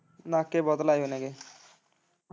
ਨਾਕੇ ਬਹੁਤ ਲਾਏ ਉਨਾਂ ਨੇ।